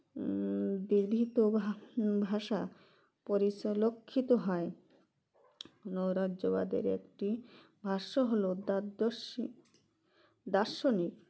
হুম ভিভিত ভা ভাষা পরিচলক্ষিত হয় নৈরাজ্যবাদের একটি ভাষ্য হলো দাদ্যস্যি দার্শনিক